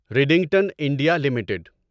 Redington India limited